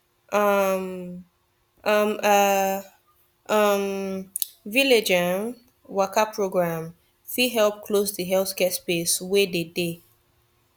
um um ah um village um waka program fit help close de healthcare space wey dey dey